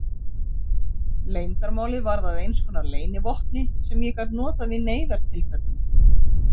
Leyndarmálið varð að einskonar leynivopni sem ég gat notað í neyðartilfellum.